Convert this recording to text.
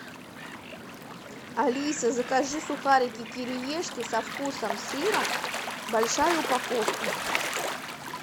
алиса закажи сухарики кириешки со вкусом сыра большая упаковка